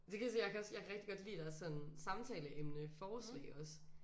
Det kan jeg kan også jeg kan rigtig godt lide deres sådan samtaleemne forslag også